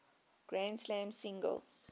grand slam singles